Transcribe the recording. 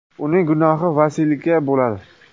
Uning gunohi valiysiga bo‘ladi”.